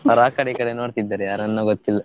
ಅವರು ಆ ಕಡೆ ಈ ಕಡೆ ನೋಡ್ತಿದ್ದಾರೆ ಯಾರನ್ನೋ ಗೊತ್ತಿಲ್ಲ.